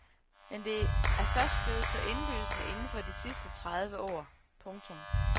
Men det er først blevet så indlysende inden for de sidste tredive år. punktum